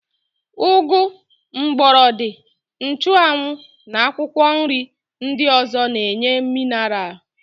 Ụgụ, mgbọrọdị, nchụanwụ na akwụkwọnri ndị ọ̀zọ́ na-enye minaral.